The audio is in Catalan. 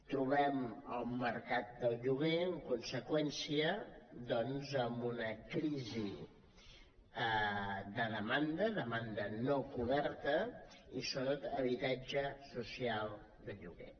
trobem el mercat del lloguer en conseqüència doncs amb una crisi de demanda demanda no coberta i sobretot d’habitatge social de lloguer